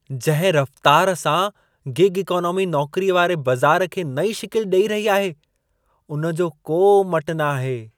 जंहिं रफ़तार सां गिग इकोनॉमी नौकरीअ वारे बज़ार खे नईं शिकिल ॾई रही आहे, उन जो को मटु न आहे।